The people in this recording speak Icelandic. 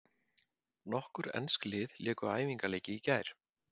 Nokkur ensk lið léku æfingaleiki í gær.